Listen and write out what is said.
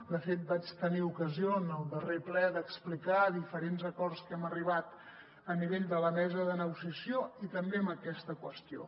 de fet vaig tenir ocasió en el darrer ple d’explicar diferents acords a què hem arribat a nivell de la mesa de negociació i també en aquesta qüestió